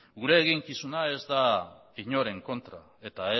gure eginkizuna ez da inoren kontra eta